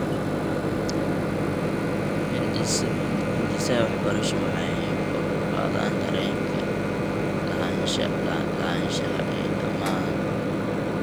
Hindisaha waxbarashadu waxay kor u qaadaan dareenka lahaanshaha ee dhammaan.